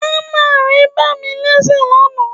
Ámà ré bá mí léṣe lánàá